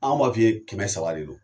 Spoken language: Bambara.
An b'a f'iye kɛmɛ saba de don